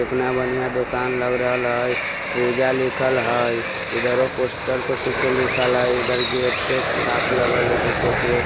एतना बनिहां दोकान लग रहल हय पूजा लिखल हय इधरो पोस्टर पे कुछो लिखल हय इधर गेट पे एक छाप लगल हय कुछो के।